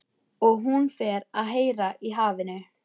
Og hún fer að heyra í hafinu.